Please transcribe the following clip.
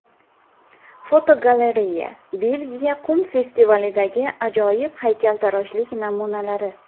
Fotogalereya: Belgiya qum festivalidagi ajoyib haykaltaroshlik namunalari.